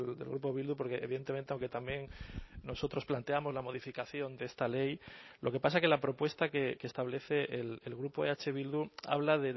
del grupo bildu porque evidentemente aunque también nosotros planteamos la modificación de esta ley lo que pasa es que la propuesta que establece el grupo eh bildu habla